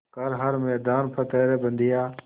कर हर मैदान फ़तेह रे बंदेया